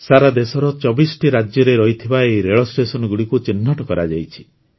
ସାରା ଦେଶର ୨୪ଟି ରାଜ୍ୟରେ ରହିଥିବା ଏହି ରେଳ ଷ୍ଟେସନଗୁଡ଼ିକୁ ଚିହ୍ନଟ କରାଯାଇଛି